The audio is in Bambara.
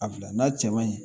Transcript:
A bila n'a cɛ man ɲi